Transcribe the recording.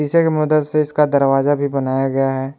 शीशे की मदद से इसका दरवाजा भी बनाया गया है।